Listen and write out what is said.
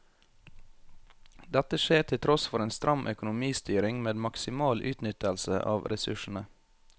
Dette skjer til tross for en stram økonomistyring med maksimal utnyttelse av ressursene.